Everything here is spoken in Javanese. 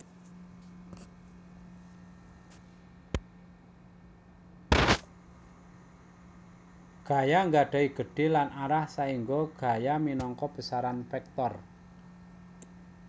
Gaya gadhahi gedhe lan arah saèngga gaya minangka besaran vektor